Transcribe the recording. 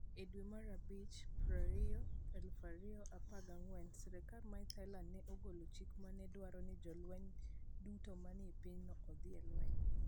E dwe mar abich 20, 2014, sirkal mar Thailand ne ogolo chik ma ne dwaro ni jolweny duto manie pinyno odhi e lweny.